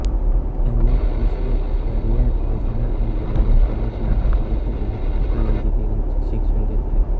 त्यांनी Visvesvaraya regional engineering college Nagpur येथून electrical इंजिनीअरिंगचे शिक्षण घेतले